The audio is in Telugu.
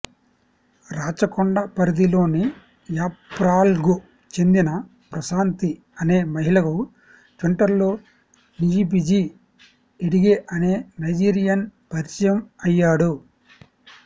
రాచకొండ పరిధిలోని యాప్రాల్కు చెందిన ప్రశాంతి అనే మహిళకు ట్విటర్లో నియిబిజీ ఎడిగే అనే నైజీరియన్ పరిచయం అయ్యాడు